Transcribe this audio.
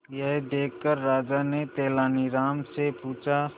यह देखकर राजा ने तेनालीराम से पूछा